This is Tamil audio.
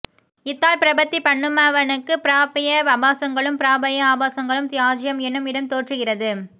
இத்தால் பிரபத்தி பண்ணுமவனுக்கு ப்ராப்ய ஆபாசங்களும் பிராபக ஆபாசங்களும் த்யாஜ்யம் என்னும் இடம் தோற்றுகிறது